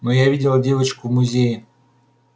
но я видела девочку в музее